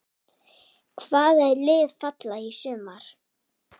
Hvaða lið falla í sumar?